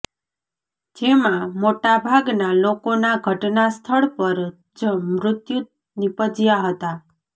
જેમાં મોટાભાગના લોકોના ઘટના સ્થળ પર જ મૃત્યુ નિપજ્યા હતા